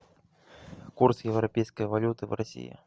курс европейской валюты в россии